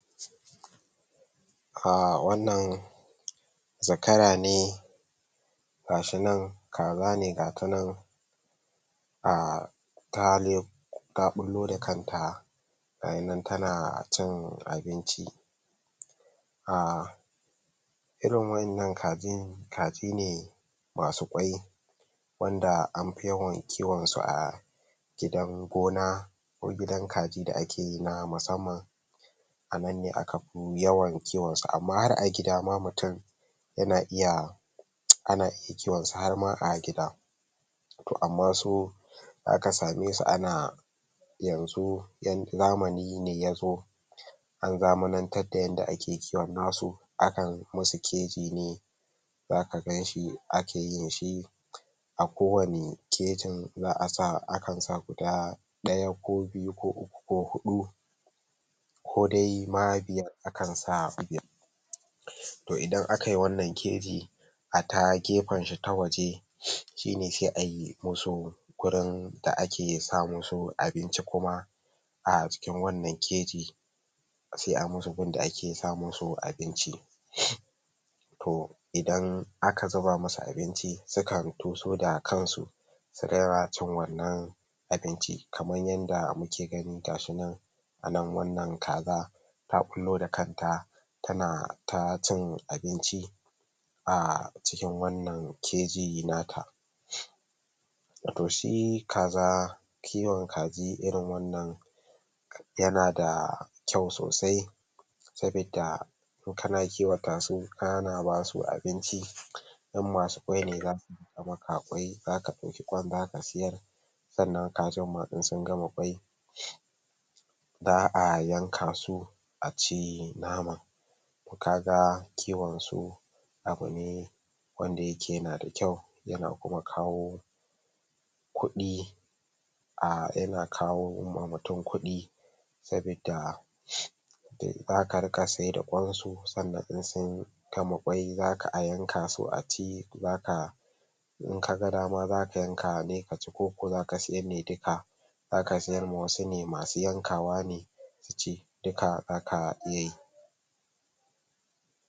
A wannan zakara ne gasunan kaza ne gasu nan a ta ta ɓullo da kanta gayinan ta na cin abinci a irin waɗannan kajin kaji ne masu kwai wanda amfi yawan kiwon su a gidan gona ko gidan kaji da ake na musamman a nan ne akafi yawan kiwon su amma har a gida ma mutum yana iya ana kiwon su har ma a gida to amma su za ka same su ana yanzu zamani ne ya zo an zamanantan da yadda ake kiwon nasu akan musu keji ne za ka ganshi ake yin shi a kowanni kejin za a sa akan sa guda ɗaya ko biyu ko uku ko huɗu ko dai ma akan sa to idan akayi wannan keji a ta gefen shi ta waje shine sai ayi musu gurin da ake sa musu abinci kuma a cikin wannan kejin sai a musu gun da ake sa musu abinci to idan aka zuba musu abinci suka da kansu su rairacin wannan abinci kaman yanda muke gani gashinan a lambun nan kaza ta ɓullo da kanta tana cin abin a cikin wannan keji nata to shi kaza kiwon kaji irin wannan yana da kyau sosai saboda in kana kiwata su kana basu abinci in masu kwai ne za za ɗauki kwan nan ka sayar sannan kazan ma in sun gama kwai za a yanka su a ci naman kaga kiwon su abu ne wanda yake yanada kyau yana kuma kawo kuɗi a yana kawo ma mutum kuɗi saboda kar ka saida kwan su sannan in sun gama kwai za a yanka su a ci za ka in ka ga dama zaka yanka ne ka ci ko ko za ka siyar ne duka zaka siyar ma wasu ne masu yankawa ne su ci duka za ka iya yi.